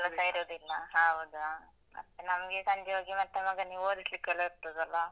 ಇರೋದಿಲ್ಲ ಹೌದು. ಮತ್ತೆ ನಂಗೆ ಸಂಜೆ ಹೋಗಿ ಮತ್ತೆ ಮಗನಿಗೆ ಓದಿಸ್ಲಿಕ್ಕೆಲ್ಲ ಇರ್ತದಲ್ಲ.